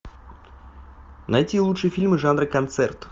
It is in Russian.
найти лучшие фильмы жанра концерт